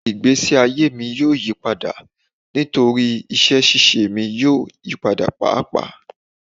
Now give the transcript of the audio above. Igbesi aye mi yoo yipada nitori iṣẹ ṣiṣe mi yoo yipada paapaa